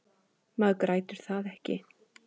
Maður grætur það ekki.